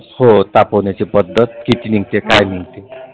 हो तापवण्याची पद्धत किती निघते काय नाही.